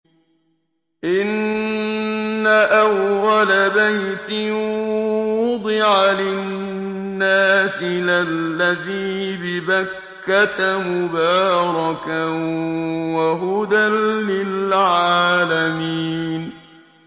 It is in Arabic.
إِنَّ أَوَّلَ بَيْتٍ وُضِعَ لِلنَّاسِ لَلَّذِي بِبَكَّةَ مُبَارَكًا وَهُدًى لِّلْعَالَمِينَ